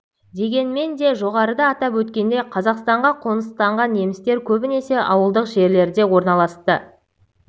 дегенмен де жоғарыда атап өткендей қазақстанға қоныстанған немістер көбінесе ауылдық жерлерде орналасты